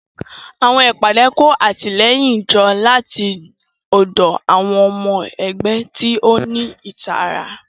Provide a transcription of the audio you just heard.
Àwọn ìpàdé kó àtìlẹ́yìn jọ láti ọ̀dọ̀ àwọn ọmọ ẹgbẹ́ tí ó ní ìtara.